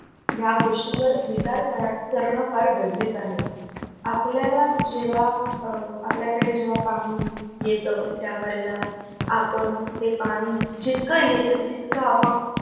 या गोष्टीवर विचार कर कारण फार गरजेचं आहे. आपल्याला जेव्हा आपल्याकडे जेव्हा पाणी येत त्या वेळेला आपण ते पाणी जितकं येतंय तितकं आपण